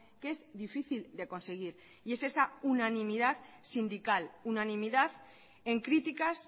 que es difícil de conseguir y es esa unanimidad sindical unanimidad en críticas